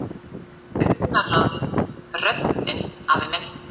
Augnaráðið, röddin afi minn.